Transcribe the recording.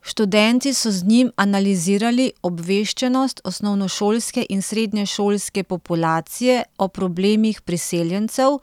Študenti so z njim analizirali obveščenost osnovnošolske in srednješolske populacije o problemih priseljencev,